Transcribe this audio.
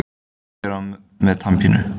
Hver er með tannpínu?